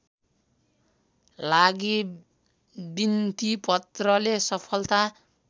लागि बिन्तिपत्रले सफलता